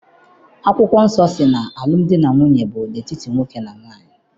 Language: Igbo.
Akwụkwọ nsọ sị na alụmdi na nwunye bụ n'etiti nwoke na nwaanyị.